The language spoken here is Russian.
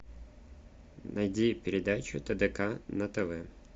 найди передачу тдк на тв